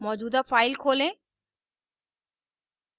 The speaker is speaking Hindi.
मौजूदा file खोलें